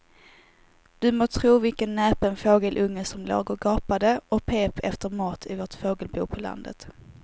Du må tro vilken näpen fågelunge som låg och gapade och pep efter mat i vårt fågelbo på landet.